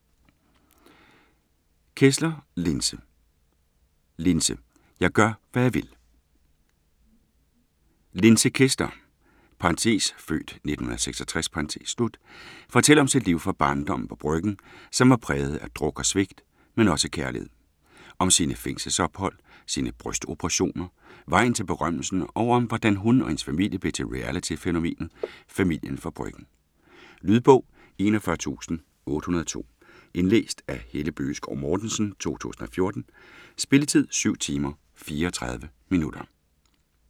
Kessler, Linse: Linse - jeg gør, hvad jeg vil Linse Kessler (f. 1966) fortæller om sit liv fra barndommen på Bryggen, som var præget af druk og svigt, men også kærlighed. Om sine fængselsophold, sine brystoperationer, vejen til berømmelse, og om hvordan hun og hendes familie blev til reality-fænomenet "Familien fra Bryggen". Lydbog 41802 Indlæst af Helle Bøgeskov Mortensen, 2014. Spilletid: 7 timer, 34 minutter.